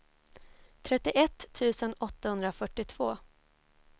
trettioett tusen åttahundrafyrtiotvå